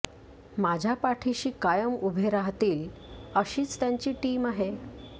माझ्या पाठीशी कायम उभे राहतील अशीच त्यांची टीम आहे